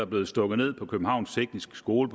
blevet stukket ned på københavns tekniske skole